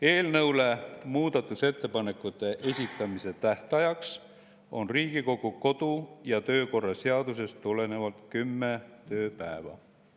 Eelnõu kohta muudatusettepanekute esitamise tähtaeg on Riigikogu kodu- ja töökorra seadusest tulenevalt kümme tööpäeva.